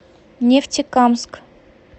нефтекамск